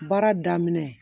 Baara daminɛ